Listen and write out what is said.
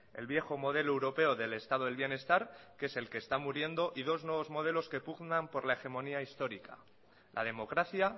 el viejo modelo europeo del estado del bienestar que es el que está muriendo y dos nuevos modelos que pugnan por la hegemonía histórica la democracia